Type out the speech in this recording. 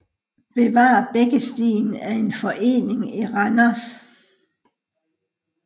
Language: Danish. Bevar Bækkestien er en forening i Randers